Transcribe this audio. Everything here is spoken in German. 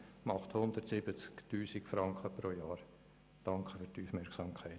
Das ergibt 170 000 Franken pro Mitglied.